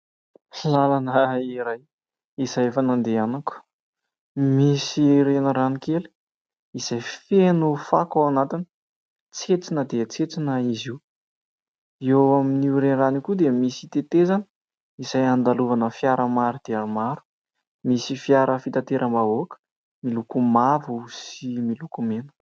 Lalana iray izay efa nandehanako. Misy renirano kely izay feno fako ao anatiny. Tsentsina dia tsentsina izy io. Eo amin'io renirano io koa dia misy tetezana izay andalovana fiara maro dia maro. Misy fiara fitateram-bahoaka miloko mavo sy miloko mena.